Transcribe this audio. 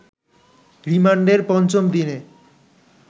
রিমান্ডের পঞ্চম দিনে